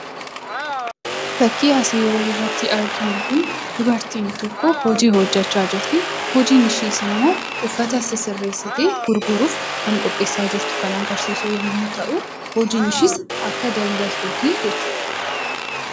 Fakkiim as oliitti arginuu dubartiin tokko hojii hojjechaa jirti. Hojiin ishees immoo uffataa sisireesitee gurgurruuf kan agarsisuu yommuu ta'uu, hojiin ishees akka daldaltuuti jechuudha.